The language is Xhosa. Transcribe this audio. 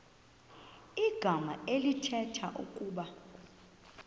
igama elithetha ukuba